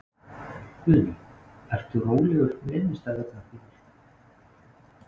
Guðný: Ertu rólegur með innistæðurnar þínar?